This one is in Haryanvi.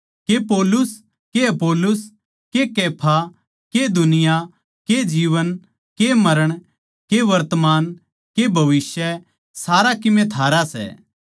के पौलुस के अपुल्लोस के कैफा के दुनिया के जीवन के मरण के वर्तमान के भविष्य सारा कीमे थारा सै